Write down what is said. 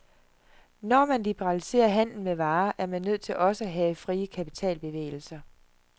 Når man liberaliserer handlen med varer, er man nødt til også at have frie kapitalbevægelser.